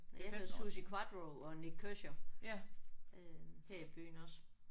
Jeg var til Suzi Quatro og Nik Kershaw øh her i byen også